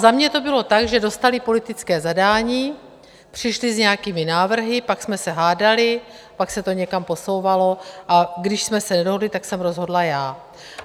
Za mě to bylo tak, že dostali politické zadání, přišli s nějakými návrhy, pak jsme se hádali, pak se to někam posouvalo, a když jsme se nedohodli, tak jsem rozhodla já.